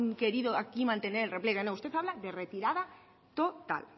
querido aquí mantener el repliegue no usted habla de retirada total